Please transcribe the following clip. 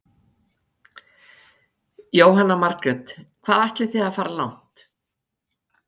Jóhanna Margrét: Hvað ætlið þið að fara langt?